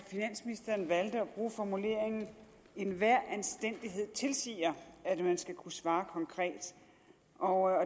bruge formuleringen enhver anstændighed tilsiger at man skal kunne svare konkret og